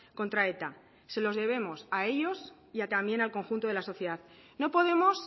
contra eta se los debemos a ellos y también al conjunto de la sociedad no podemos